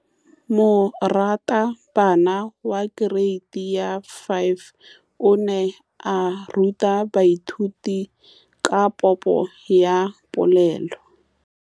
Moratabana wa kereiti ya 5 o ne a ruta baithuti ka popô ya polelô.